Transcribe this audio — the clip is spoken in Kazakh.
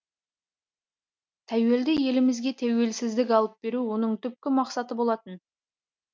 тәуелді елімізге тәуелсіздік алып беру оның түпкі мақсаты болатын